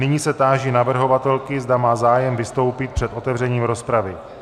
Nyní se táži navrhovatelky, zda má zájem vystoupit před otevřením rozpravy.